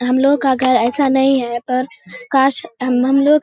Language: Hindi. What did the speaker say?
हम लोग का घर ऐसा नहीं है पर काश हम हम लोग --